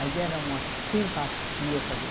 Mas era uma simpatia com a